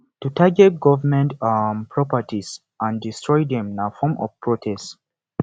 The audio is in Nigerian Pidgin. to target government um properties and destroy dem na form of protest